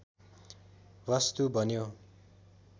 वस्तु बन्यो